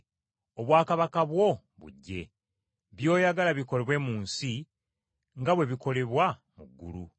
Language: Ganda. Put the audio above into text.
Obwakabaka bwo bujje. By’oyagala bikolebwe mu nsi, nga bwe bikolebwa mu ggulu.